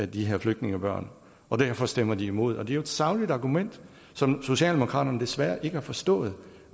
de her flygtningebørn og derfor stemmer de imod det er jo et sagligt argument som socialdemokraterne desværre ikke har forstået